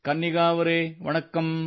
ಕನ್ನಿಗಾ ಅವರೆ ವಣಕ್ಕಂ